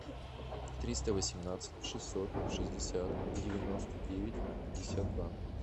триста восемнадцать шестьсот шестьдесят девяносто девять пятьдесят два